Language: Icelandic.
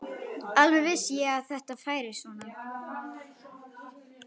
Alveg vissi ég að þetta færi svona!